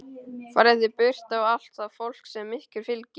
Farið þið burt og allt það fólk sem ykkur fylgir!